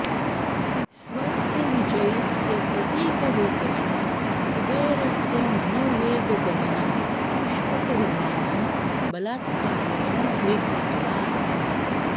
स्वस्य विजयस्य प्रतीकरूपेण कुबेरस्य मनोवेगगमनं पुष्पकविमानं बलात्कारेण स्वीकृतवान्